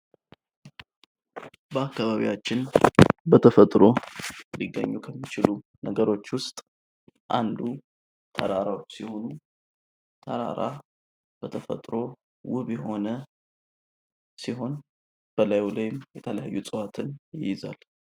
በአካባቢያችን በተፈጥሮ ሊገኙ ከሚችሉ ነገሮች ዉስጥ አንዱ ተራራዎች ሲሆኑ ተራራ በተፈጥሮ ዉብ የሆነ ሲሆን እላዩ ላይም የተፈጥሮ እፅዋትን ይይዛል።